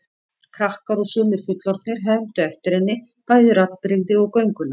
Krakkar og sumir fullorðnir hermdu eftir henni, bæði raddbrigði og göngulag.